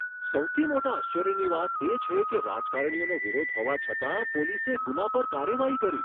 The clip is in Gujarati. સૌથી મોટા આશ્ચર્યની વાત એ છે કે રાજકારણીઓનો વિરોધ હોવા છતાં પોલીસે ગુના પર કાર્યવાહી કરી!